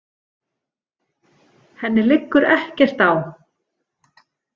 Henni liggur ekkert á.